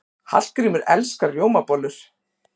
Hallgrímur elskar rjómabollur.